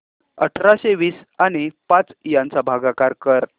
अठराशे वीस आणि पाच यांचा भागाकार कर